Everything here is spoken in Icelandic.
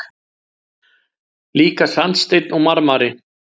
Líka sandsteinn og marmari.